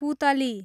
पुतली